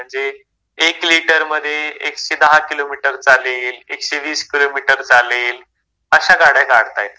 म्हणजे एक लिटरमध्ये एकशे दहा किलोमीटर चालेल, एकशे वीस किलोमीटर चालेल. अशा गाड्या काढतायेत.